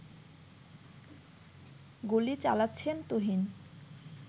গুলি চালাচ্ছেন তুহিন